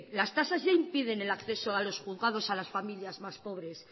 las tasas ya impiden el acceso a los juzgados a las familias más pobres